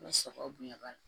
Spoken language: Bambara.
Ni sagaw bonyana